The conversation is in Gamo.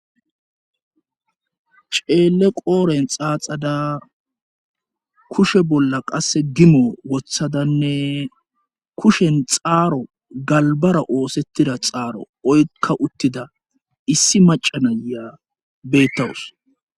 Ceele qooren xaaxada kushe bolla qasse gimo wothadanne kushen xaaro galbara oosettida xaaro oykka uttida issi macanaya bettawus.